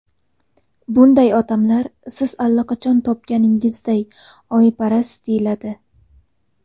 Bunday odamlar, siz allaqachon topganingizday, oyparast deyiladi.